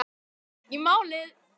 Ekki málið!